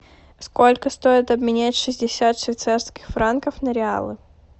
сколько стоит обменять шестьдесят швейцарских франков на реалы